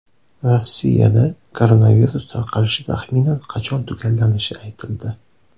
Rossiyada koronavirus tarqalishi taxminan qachon tugallanishi aytildi.